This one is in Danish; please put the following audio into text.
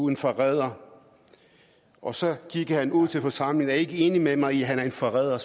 en forræder og så gik han ud til forsamlingen er ikke enige med mig i at han er en forræder